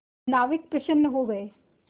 नाविक प्रसन्न हो गए